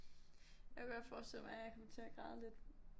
Jeg kunne godt forestille mig at jeg kommer til at græde lidt